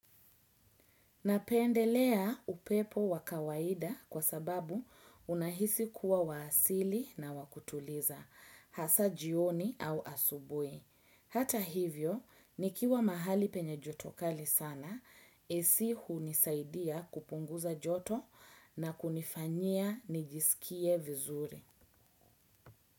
Napendelea upepo wa kawaida kwa sababu unahisi kuwa wa asili, hasa jioni ama asubuhi. Hata hivyo nikiwa mahali penye joto kali sana AC hunisaidia kupunguza joto na kunifanyia nijiskie vizuri sana.